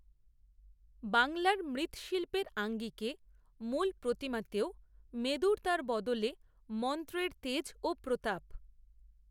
বাংলার মৃত্ৎশিল্পের আঙ্গিকে মূলপ্রতিমাতেও মেদুরতার বদলে মন্ত্রের তেজ ও প্রতাপ